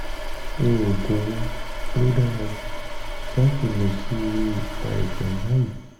oògùn wo ló dára jù láti lò sí irú àìsàn báyìí?